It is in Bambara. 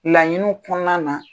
Laɲini kɔnɔna na